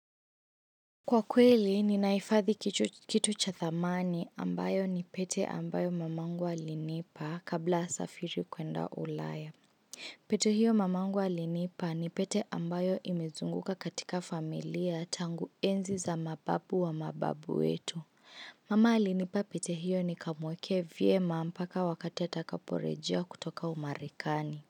Kwa kweli, ninahifadhi kitu cha thamani ambayo ni pete ambayo mamangu alinipa kabla asafiri kwenda ulaya. Pete hiyo mamangu alinipa ni pete ambayo imezunguka katika familia tangu enzi za mababu wa mababu wetu. Mama alinipa pete hiyo nikamuwekee vema mpaka wakati atakaporejea kutoka umarekani.